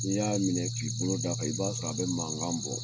N'i y'a minɛ k'i bolo d'a kan i b'a sɔrɔ a be mankan bɔ